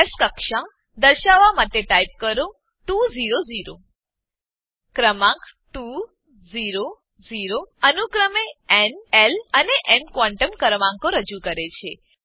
S કક્ષા દર્શાવવા માટે ટાઈપ કરો 2 0 0 ક્રમાંક 2 0 0 અનુક્રમે ન એલ અને એમ ક્વોન્ટમ ક્રમાંકો રજુ કરે છે